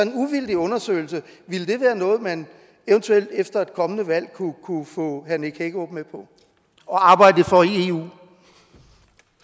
en uvildig undersøgelse være noget man eventuelt efter et kommende valg kunne få herre nick hækkerup med på at arbejde for